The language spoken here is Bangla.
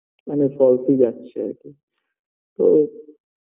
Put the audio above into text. মনে হয় ফালতু যাচ্ছে আরকি তো